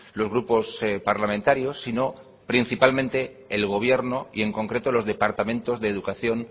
los grupos parlamentarios sino principalmente el gobierno y en concreto los departamentos de educación